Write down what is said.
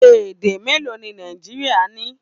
Èdè méèló ni Nàìjíríà ní?